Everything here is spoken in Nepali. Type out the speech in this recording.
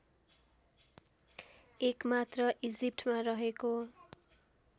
एकमात्र इजिप्टमा रहेको